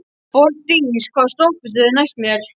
Borgdís, hvaða stoppistöð er næst mér?